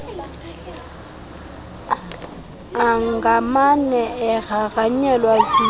angamane egrangranyelwe zizilo